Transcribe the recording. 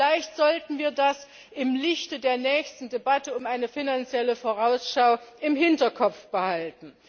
Vielleicht sollten wir das im Lichte der nächsten Debatte um eine Finanzielle Vorausschau im Hinterkopf behalten.